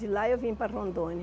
De lá eu vim para Rondônia.